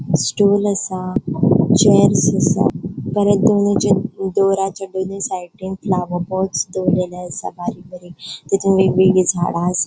स्टूल असा चेयर्स असा डोरचा दोनी साइडीन फ्लॉवर्स पॉटस दोरलेले असा बारीक बारीक तीतून एक वेगळी झाडा असा.